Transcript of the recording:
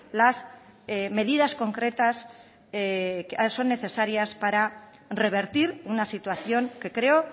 las medidas concretas que son necesarias para revertir una situación que creo